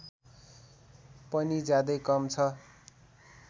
पनि ज्यादै कम छ